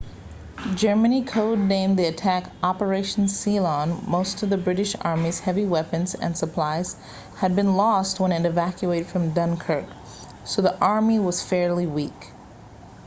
germany code-named the attack operation sealion most of the british army's heavy weapons and supplies had been lost when it evacuated from dunkirk so the army was fairly weak